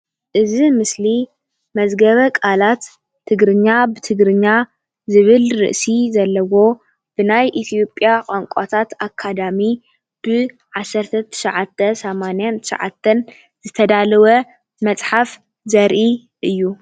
እዚ ምስሊ መዝገበ ቃላት ትግርኛ ብትግርኛ ዝብል ርእሲ ዘለዎ ብናይ ኢትዮጵያ ቛንቛታት አካዳሚ ብ1989 ዝተዳለወ መፅሓፍ ዘርኢ እዩ፡፡